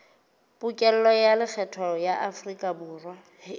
pokello ya lekgetho ya aforikaborwa